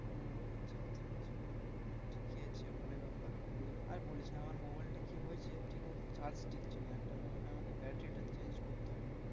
ও আচ্ছা আচ্ছা আচ্ছা ঠিকই আছে ভালোই ব্যাপার আর বলিস না আমার mobile টা কি হয়েছে ঠিক মতো charge টিকছে না একটা মনে হয় আমাকে battery টা change করতে হবে।